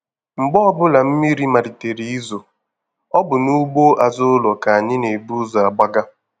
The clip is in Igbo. Mgbe ọbụla mmiri malitere izo, ọ bụ n'ugbo azụ ụlọ ka anyị n'ebu ụzọ agbaga.